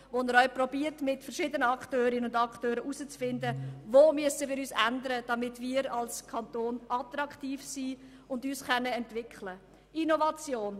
Er versucht mit verschiedenen Akteurinnen und Akteuren herauszufinden, wo wir uns ändern müssen, damit wir als Kanton attraktiv sind und uns entwickeln können.